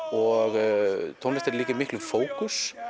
og tónlistin er líka í miklum fókus